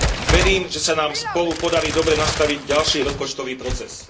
Verím, že sa nám spolu podarí dobre nastaviť ďalší rozpočtový proces.